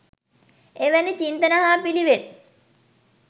එවැනි චින්තන හා පිළිවෙත්